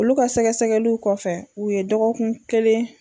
Olu ka sɛgɛsɛgɛliw kɔfɛ u ye dɔgɔkun kelen